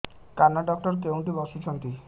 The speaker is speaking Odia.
କାନ ଡକ୍ଟର କୋଉଠି ବସୁଛନ୍ତି